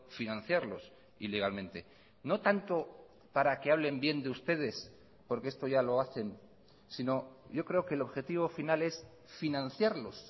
financiarlos ilegalmente no tanto para que hablen bien de ustedes porque esto ya lo hacen sino yo creo que el objetivo final es financiarlos